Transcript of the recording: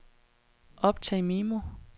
optag memo